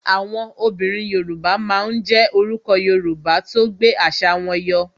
Àwọn obìnrin Yoruba máa ń jé orúkọ Yorùbá tó gbé àṣà wọn yọ